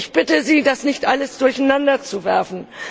Ich bitte Sie, das nicht alles durcheinanderzuwerfen.